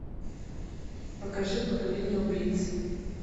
покажи поколение убийц